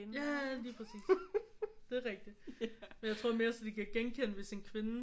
Ja lige præcis det er rigtig men jeg tror mere sådan de kan genkende hvis en kvinde